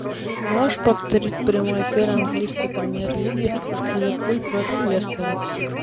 можешь повторить прямой эфир английской премьер лиги ливерпуль против лестера